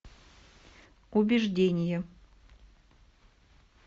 убеждение